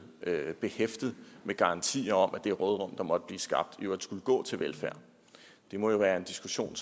behæftet med garantier om at det råderum der måtte blive skabt skulle gå til velfærd det må jo være en diskussion